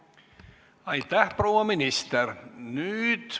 Aitäh, proua minister!